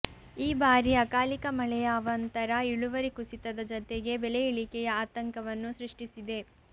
ಈ ಬಾರಿ ಅಕಾಲಿಕ ಮಳೆಯ ಅವಾಂತರ ಇಳುವರಿ ಕುಸಿತದ ಜತೆಗೆ ಬೆಲೆ ಇಳಿಕೆಯ ಆತಂಕವನ್ನು ಸೃಷ್ಟಿಸಿದೆ